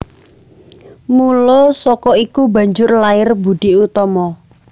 Mula saka iku banjur lair Boedi Oetomo